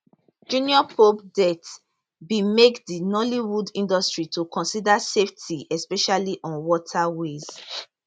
junior pope death bin make di nollywood industry to consider safety especially on waterways